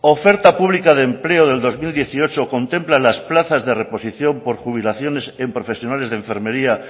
oferta pública de empleo de dos mil dieciocho contemplan las plazas de reposición por jubilaciones en profesionales de enfermería